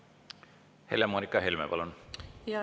Helle-Moonika Helme, palun!